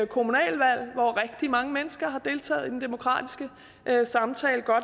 kommunalvalg hvor rigtig mange mennesker har deltaget i den demokratiske samtale